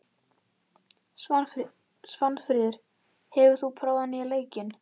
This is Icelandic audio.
Svanfríður, hefur þú prófað nýja leikinn?